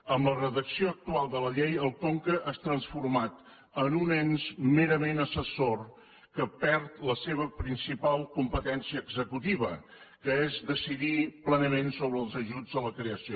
amb la redacció actual de la llei el conca és transformat en un ens merament assessor que perd la seva principal competència executiva que és decidir plenament sobre els ajuts a la creació